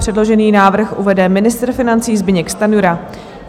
Předložený návrh uvede ministr financí Zbyněk Stanjura.